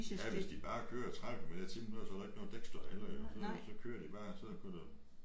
Ja hvis de bare kører 30 kilometer i timen så er der heller ikke noget dækstøj heller så så kører bare så kunne du